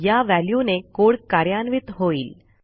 या व्हॅल्यूने कोड कार्यान्वित होईल